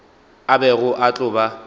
a bego a tlo ba